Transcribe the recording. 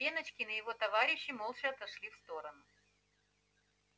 пеночкин и его товарищи молча отошли в сторону